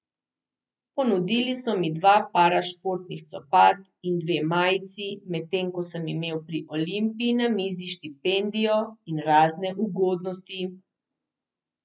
Ponudili so mi dva para športnih copat in dve majici, medtem ko sem imel pri Olimpiji na mizi štipendijo in razne ugodnosti.